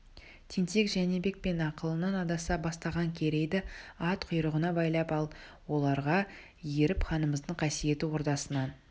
тентек жәнібек пен ақылынан адаса бастаған керейді ат құйрығына байлап ал оларға еріп ханымыздың қасиетті ордасынан